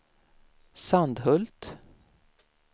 Sandhult